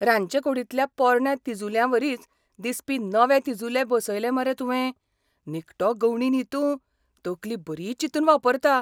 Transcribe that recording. रांदचेकूडींतल्या पोरण्या तिजुल्यांवरीच दिसपी नवे तिजुले बसयले मरे तुवें. निखटो गवंडो न्ही तूं, तकली बरी चिंतून वापरता.